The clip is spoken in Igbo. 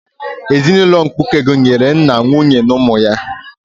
Ezinaụlọ mkpuke gụnyere nna, nwunye na ụmụ ha.